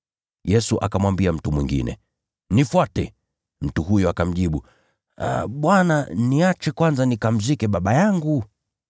Yesu akamwambia mtu mwingine, “Nifuate.” Mtu huyo akamjibu, “Bwana, niruhusu kwanza nikamzike baba yangu.”